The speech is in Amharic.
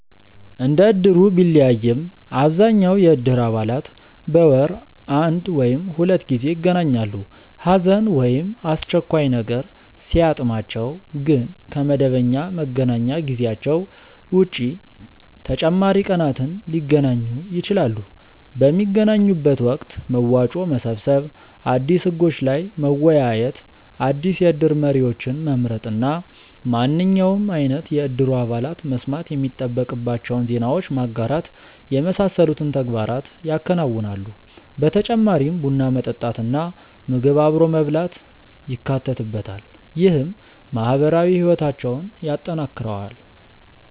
እንደ እድሩ ቢለያይም አብዛኛው የእድር አባላት በወር አንድ ወይም ሁለት ጊዜ ይገናኛሉ። ሀዘን ወይም አስቸኳይ ነገር ሲያጥማቸው ግን ከ መደበኛ መገናኛ ጊዜያቸው ውጪ ተጨማሪ ቀናትን ሊገናኙ ይችላሉ። ። በሚገናኙበት ወቅት መዋጮ መሰብሰብ፣ አዲስ ህጎች ላይ መወያየት፣ አዲስ የእድር መሪዎችን መምረጥ እና ማንኛውም አይነት የእድሩ አባላት መስማት የሚጠበቅባቸውን ዜናዎች ማጋራት የመሳሰሉትን ተግባራት ያከናውናሉ። በተጨማሪም ቡና መጠጣት እና ምግብ አብሮ መብላት ይካተትበታል። ይህም ማህበራዊ ህይወታቸውን ያጠናክረዋል።